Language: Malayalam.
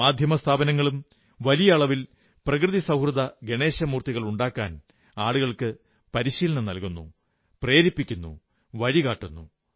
മാധ്യമസ്ഥാപനങ്ങളും വലിയ ആളവിൽ പ്രകൃതിസൌഹൃദ ഗണേശമൂർത്തികളുണ്ടാക്കാൻ ആളുകളെ പ്രേരിപ്പിക്കുന്നു വഴികാട്ടുന്നു